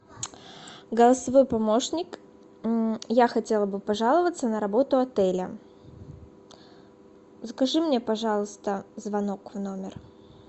голосовой помощник я хотела бы пожаловаться на работу отеля закажи мне пожалуйста звонок в номер